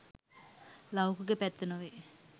ලෞකික පැත්ත නොවේ.